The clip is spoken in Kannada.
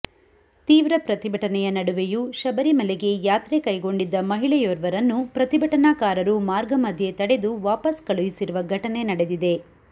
ತೀವ್ರ ಪ್ರತಿಭಟನೆಯ ನಡುವೆಯೂ ಶಬರಿಮಲೆಗೆ ಯಾತ್ರೆ ಕೈಗೊಂಡಿದ್ದ ಮಹಿಳೆಯೊರ್ವರನ್ನು ಪ್ರತಿಭಟನಾಕಾರರು ಮಾರ್ಗ ಮಧ್ಯೆ ತಡೆದು ವಾಪಸ್ ಕಳುಹಿಸಿರುವ ಘಟನೆ ನಡೆದಿದೆ